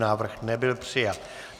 Návrh nebyl přijat.